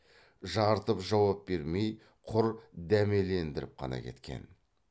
жарытып жауап бермей құр дәмелендіріп қана кеткен